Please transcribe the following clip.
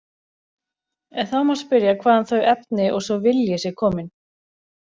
En þá má spyrja hvaðan þau efni og sá vilji séu komin.